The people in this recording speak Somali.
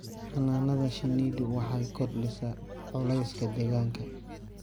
Xannaanada shinnidu waxay kordhisaa culayska deegaanka.